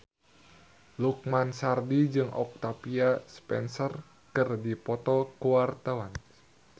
Lukman Sardi jeung Octavia Spencer keur dipoto ku wartawan